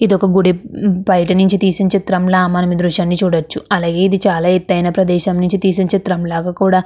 గుడి బయటనుండి తీసిన చిత్రం ల కుడా చూడవచ్చు అలాగే ఇది చాల ఎత్తు ఆయన ప్రదేశంలో నుండి తీసిన చిత్రం ల కుడా--